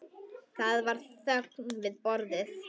Það var þögn við borðið.